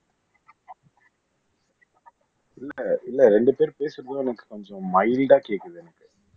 இல்ல இல்ல ரெண்டு பேரும் பேசும் போதும் எனக்கு கொஞ்சம் மைல்டா கேக்குது எனக்கு